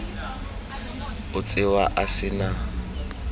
o tsewa a se na